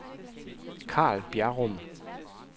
Karl Bjerrum